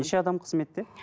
неше адам қызметте